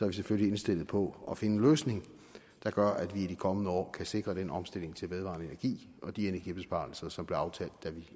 vi selvfølgelig indstillet på at finde en løsning der gør at vi i de kommende år kan sikre den omstilling til vedvarende energi og de energibesparelser som blev aftalt da vi